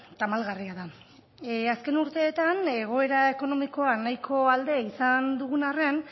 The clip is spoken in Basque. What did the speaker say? tamalgarria da azken urteetan egoera ekonomikoa nahiko alde izan dugun harren